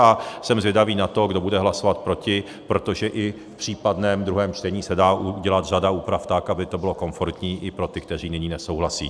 A jsem zvědavý na to, kdo bude hlasovat proti, protože i v případném druhém čtení se dá udělat řada úprav tak, aby to bylo komfortní i pro ty, kteří nyní nesouhlasí.